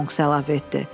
Monks əlavə etdi.